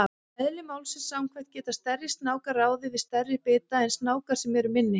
Eðli málsins samkvæmt geta stærri snákar ráðið við stærri bita en snákar sem eru minni.